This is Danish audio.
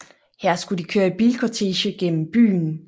Her skulle de køre i bilkortege gennem byen